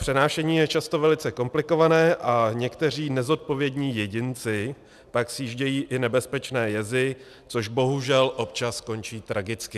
Přenášení je často velice komplikované a někteří nezodpovědní jedinci pak sjíždějí i nebezpečné jezy, což bohužel občas končí tragicky.